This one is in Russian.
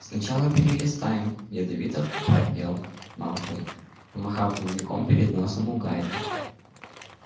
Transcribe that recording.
сначала перелистаем ядовито пропел малфой помахав дневником перед носом у гарри